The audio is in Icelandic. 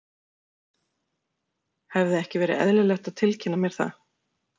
Hefði ekki verið eðlilegt að tilkynna mér það?